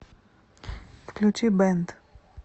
включи бэнд